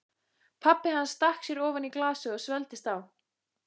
Pabbi hans stakk sér ofan í glasið og svelgdist á.